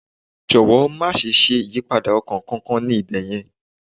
Jọ̀wọ́ má ṣe ṣe ìyípadà ọkọ̀ kankan ní ibẹ̀ yẹn.